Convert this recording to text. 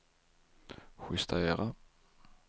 justera